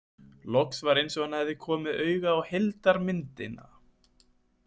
Loks var eins og hann hefði komið auga á heildarmyndina.